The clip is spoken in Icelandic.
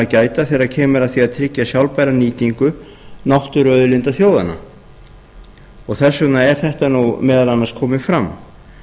gæta þegar kemur að því að tryggja sjálfbæra nýtingu náttúruauðlinda þjóðanna þess vegna er þetta meðal annars komið fram